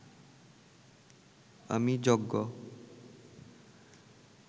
আমি যজ্ঞ